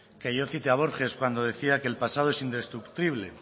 que yo cite a borges cuando decía que el pasado es indestructible